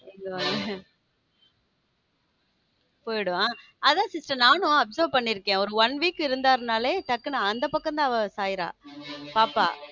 போயிடும் அதான் sister நானும் observe பண்ணி இருக்கேன் ஒரு one week இருந்தார் நாலு டக்குனு அந்தப் பக்கம் தான் அவ சாயிரா பாப்பா அவங்க அப்பா.